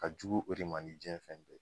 Ka jugu o de ma ni diɲɛ fɛn bɛɛ